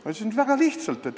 Ma ütlesin, et väga lihtsalt.